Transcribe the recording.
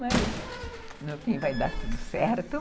Mas, no fim, vai dar tudo certo.